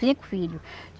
Cinco filhos.